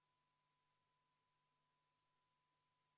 Sellega oleme muudatusettepanekud läbi vaadanud ja teise lugemise lõpetanud.